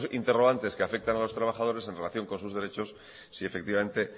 interrogantes que afectan a los trabajadores en relación con sus derechos si efectivamente